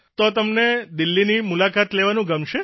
તો તમને દિલ્હીની મુલાકાત લેવાનું ગમશે